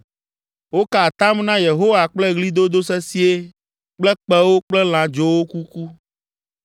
Woka atam na Yehowa kple ɣlidodo sesĩe kple kpẽwo kple lãdzowo kuku.